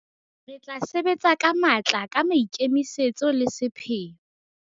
Re tla sebetsa ka matla, ka maikemisetso le sepheo.